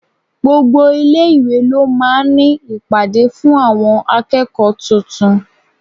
Gbogbo ilé-ìwé ló máa ń ní ìpàdé fún àwọn akẹ́kọ̀ọ́ tuntun.